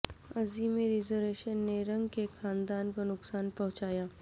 عظیم reservation نے رنگ کے خاندان کو نقصان پہنچایا